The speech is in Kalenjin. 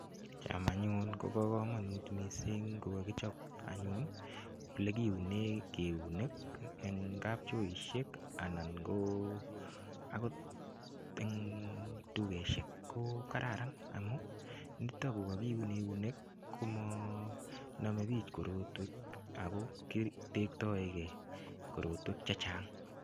Cham anyun kobo kamanut koka kichob anyun Ole kiunen eunek en kapchoisiek akot en dukosiek ko Kararan amun niton ko kakiun eunek komonome bik korotwek amun ki tektoege korotwek Che Chang